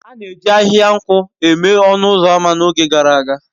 A na-eji ahịhịa nkwụ mee ọnụ ụzọ ámá n'oge gara aga.